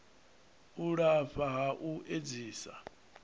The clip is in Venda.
u lafha ha u edzisa